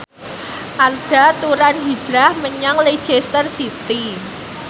Arda Turan hijrah menyang Leicester City